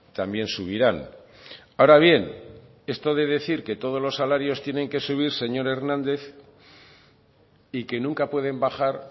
también subirán ahora bien esto de decir que todos los salarios tienen que subir señor hernández y que nunca pueden bajar